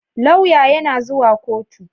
Lauya yana zuwa koto